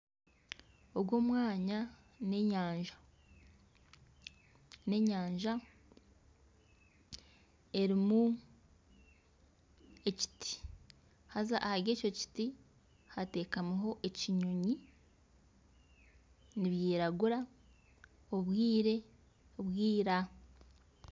Ogu omwanya n'enyanja erimu ekiti haza ahari eki kiti hateekamiho ekinyonyi nikiragura n'obwire bwira.